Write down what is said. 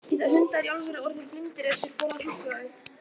Geta hundar í alvöru orðið blindir ef þeir borða súkkulaði?